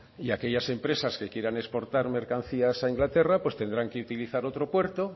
y aquellas empresas que quieran exportar mercancías a inglaterra pues tendrán que utilizar otro puerto